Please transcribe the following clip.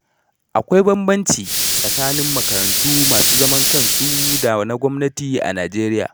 Akwai bambanci tsakanin makarantu masu zaman kansu da na gwamnati a Najeriya.